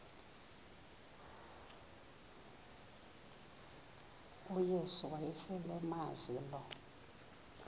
uyesu wayeselemazi lo